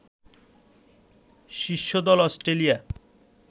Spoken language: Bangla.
শীর্ষ দল অস্ট্রেলিয়া